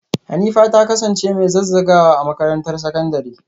Hanifa ta kasance mai zazzagawa a makarantar sakandare?